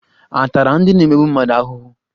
A tara ndị na-emegbu mmadụ ahụhụ?